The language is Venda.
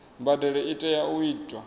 mbadelo i tea u itwa